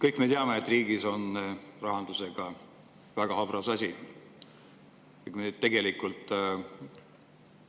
Kõik me teame, et riigi rahanduse on väga habras.